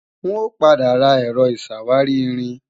N ò padà ra Ẹ̀rọ ìṣàwárí-irin